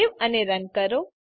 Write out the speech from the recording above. save અને run કરો